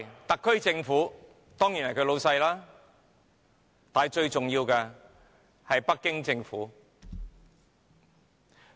特區政府當然是他們的老闆，但最重要的是北京政府。